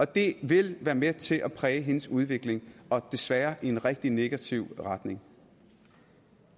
det vil være med til at præge hendes udvikling og desværre i en rigtig negativ retning